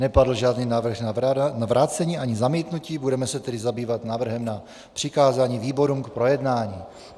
Nepadl žádný návrh na vrácení ani zamítnutí, budeme se tedy zabývat návrhem na přikázání výborům k projednání.